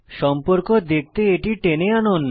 সম্পর্ক দেখতে এটি টেনে আনুন